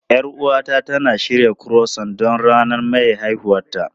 Yar uwata tana shirya Croissant don ranar maye haihuwarta.